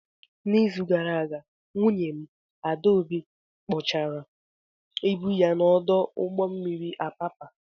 N'izu gara aga, nwunye m, Adaobi, kpochara ibu ya n'ọdụ ụgbọ mmiri Apapa.